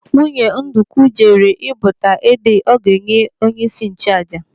Nwunye Ndukwu jere ị́bụta ede ọ ga-enye onyeisi nchụàjà.